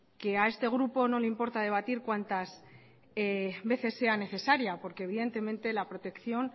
a este grupo no le importa debatir cuantas veces sea necesaria porque evidentemente la protección